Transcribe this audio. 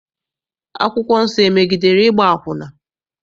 Akwụkwọ nsọ emegidere ịgba akwụna?